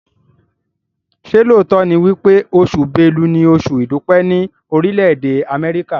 ṣe lóòtó ní wípé Oṣù Bélú ní Oṣù idupẹ ni Orile-ede Amẹrika?